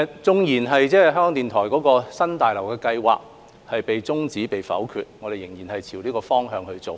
即使港台的新大樓計劃被否決，我們仍朝着這方向去做。